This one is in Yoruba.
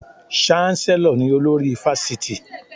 Cháńsẹ́lọ̀ ni olórí Fáṣítì.